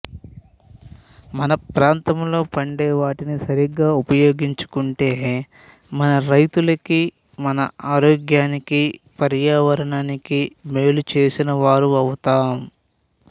మన ప్రాంతాల్లో పండే వాటిని సరిగ్గా ఉపయోగించుకుంటే మన రైతులకి మన ఆరోగ్యానికి పర్యావరణానికి మేలు చేసిన వారమవుతాం